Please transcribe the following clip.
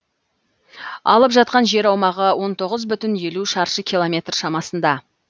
алып жатқан жер аумағы он тоғыз бүтін елу шаршы километр шамасында